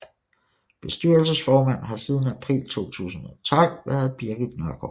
Bestyrelsesformand har siden april 2012 været Birgit Nørgaard